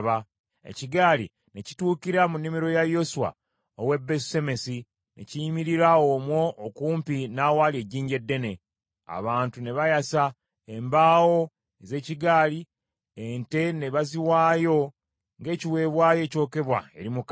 Ekigaali ne kituukira mu nnimiro ya Yoswa ow’e Besusemesi ne kiyimirira omwo okumpi n’awali ejjinja eddene. Abantu ne bayasa embaawo ez’ekigaali, ente ne baziwaayo ng’ekiweebwayo ekyokebwa eri Mukama .